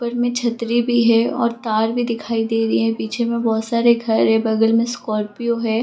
ऊपर मे छतरी भी है और तार भी दिखाई दे रही है पीछे में बहुत सारे घर है बगल मे स्कार्पियो है।